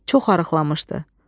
Çox arıqlamışdı.